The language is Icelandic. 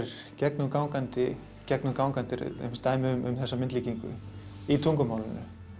gegnumgangandi gegnumgangandi dæmi um þessa myndlíkingu í tungumálinu